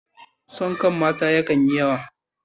Son kai na mata yakan yi yawa